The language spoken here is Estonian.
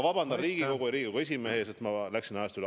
Vabandust, Riigikogu ja Riigikogu esimees, et ma läksin ajast üle.